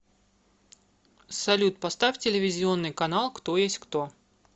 салют поставь телевизионный канал кто есть кто